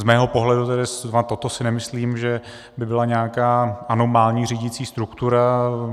Z mého pohledu tedy zrovna toto si nemyslím, že by byla nějaká anomální řídicí struktura.